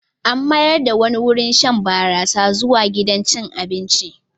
An mayar da wani wurin shan barasa zuwa gidan cin abinci.